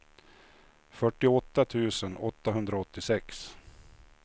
fyrtioåtta tusen åttahundraåttiosex